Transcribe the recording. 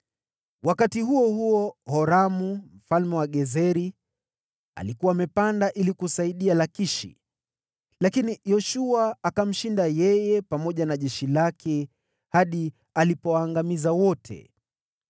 Wakati huo huo, Horamu mfalme wa Gezeri alikuwa amepanda ili kusaidia Lakishi, lakini Yoshua akamshinda pamoja na jeshi lake, hadi hapakubakia mtu yeyote.